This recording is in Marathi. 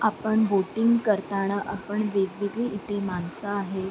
आपण बोटींग करताना आपण वेगवेगळी इथे माणसे आहेत.